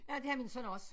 Ja det har min søn også